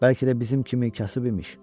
Bəlkə də bizim kimi kasıb imiş.